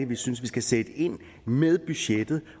vi synes vi skal sætte ind med budgettet